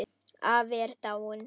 Afi er dáinn.